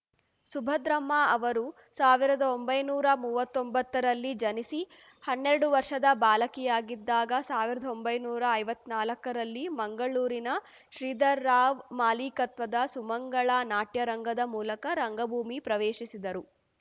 ಸುಭದ್ರಮ್ಮ ಅವರು ಸಾವಿರದ ಒಂಬೈನೂರಾ ಮೂವತ್ತೊಂಬತ್ತರಲ್ಲಿ ಜನಿಸಿ ಹನ್ನೆರಡು ವರ್ಷದ ಬಾಲಕಿಯಾಗಿದ್ದಾಗ ಸಾವಿರದ ಒಂಬೈನೂರಾ ಐವತ್ನಾಲ್ಕರಲ್ಲಿ ಮಂಗಳೂರಿನ ಶ್ರೀಧರರಾವ್ ಮಾಲೀಕತ್ವದ ಸುಮಂಗಳ ನಾಟ್ಯ ರಂಗದ ಮೂಲಕ ರಂಗಭೂಮಿ ಪ್ರವೇಶಿಸಿದರು